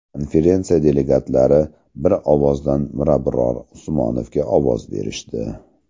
Konferensiya delegatlari bir ovozdan Mirabror Usmonovga ovoz berishdi.